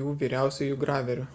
jų vyriausiuoju graveriu